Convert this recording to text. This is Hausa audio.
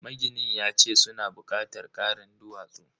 Maginin yace suna bukatar karin duwatsu.